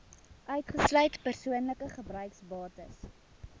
uitgesluit persoonlike gebruiksbates